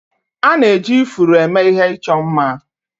A na-eji ifuru eme ihe ịchọ mma